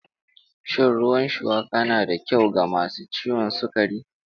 Shin ruwan shuwaka na da kyau ga masu ciwon sukari?